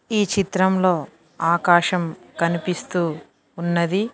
ఈ చిత్రంలో ఆకాశం కనిపిస్తూ ఉన్నది.